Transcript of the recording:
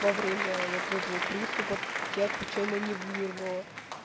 во время вот этого приступа тебя случайно не вырвало